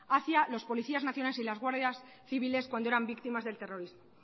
hacia los policías nacionales y las guardias civiles cuando eran víctimas del terrorismo